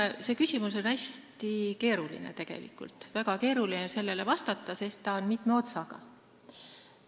See küsimus on hästi keeruline, väga keeruline on sellele vastata, sest see on mitme otsaga.